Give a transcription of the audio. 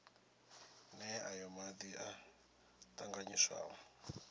nee aya madi o tanganyiswaho